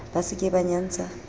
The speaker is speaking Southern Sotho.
ba se ke ba nyantsha